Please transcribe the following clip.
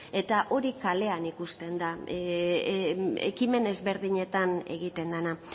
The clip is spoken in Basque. eta hori kalean ikusten da ekimen ezberdinetan egiten dena